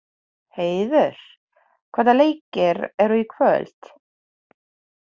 Heiður, hvaða leikir eru í kvöld?